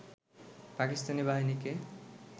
পাকিস্তানি বাহিনীকে